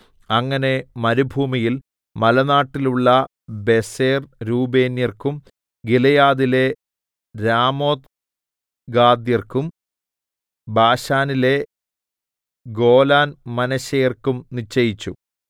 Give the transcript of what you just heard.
അങ്ങനെ മരുഭൂമിയിൽ മലനാട്ടിലുള്ള ബേസെർ രൂബേന്യർക്കും ഗിലെയാദിലെ രാമോത്ത് ഗാദ്യർക്കും ബാശാനിലെ ഗോലാൻ മനശ്ശെയർക്കും നിശ്ചയിച്ചു